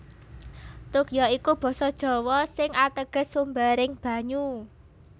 Tuk ya iku basa Jawa sing ateges sumbering banyu